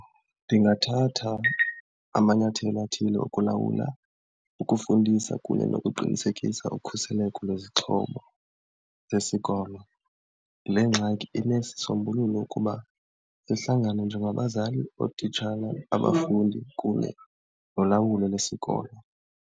Ndingathatha amanyathelo athile okulawula ukufundisa kunye nokuqinisekisa ukhuseleko lwezixhobo zesikolo. Le ngxaki inesisombululo ukuba sihlangane njengabazali, ootitshala, abafundi kunye nolawulo lwesikolo.